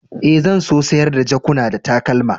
Eh, zan so sayar da jakuna da takalma.